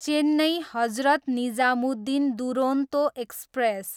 Chennai, Hazrat Nizamuddin Duronto express